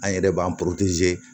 An yɛrɛ b'an